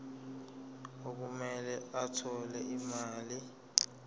okumele athole imali